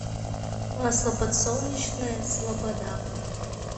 масло подсолнечное слобода